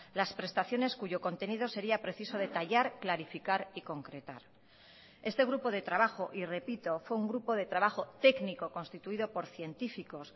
las prestaciones cuyo contenido sería preciso detallar clarificar y concretar este grupo de trabajo y repito fue un grupo de trabajo técnico constituido por científicos